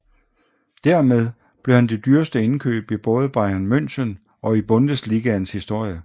Dermed blev han det dyreste indkøb i både Bayern München og i Bundesligaens historie